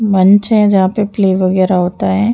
मंच है। जहाँ पे प्ले वगैरा होता है।